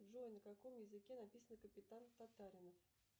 джой на каком языке написана капитан татаринов